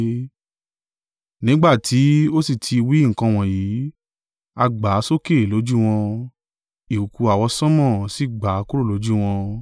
Nígbà tí ó sì tí wí nǹkan wọ̀nyí, a gbà á sókè lójú wọn; ìkùùkuu àwọsánmọ̀ sì gbà á kúrò lójú wọn.